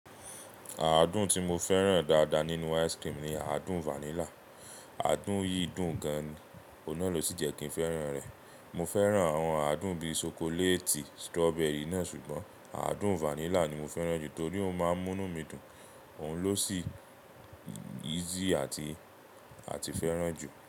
Àádùn tí mo fẹ́ràn dáadáa nínú ice cream ni àádùn vanilla. Àádùn yìí dùn gan, ọ́un naa ló sì jẹ́ kí n fẹ́ràn rẹ̀. Mo fẹ́ràn àwọn àádùn bí i ṣokoléètì, strawberry náà ṣùgbọ́n àádùn vanilla ni mo fẹ́ràn jù torí ó máa ń mú mí dùn, òun ló sì easy àti, àti fẹ́ràn jù.